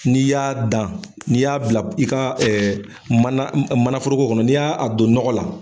Ni y'a dan , ni y'a bila i ka ɛɛ manan mananforoko kɔnɔ ni y'a don nɔgɔ la